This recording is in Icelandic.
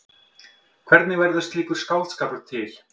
Hvernig verður slíkur skáldskapur til?